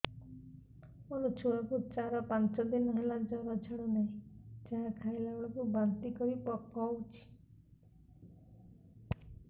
ମୋ ଛୁଆ କୁ ଚାର ପାଞ୍ଚ ଦିନ ହେଲା ଜର ଛାଡୁ ନାହିଁ ଯାହା ଖାଇଲା ବେଳକୁ ବାନ୍ତି କରି ପକଉଛି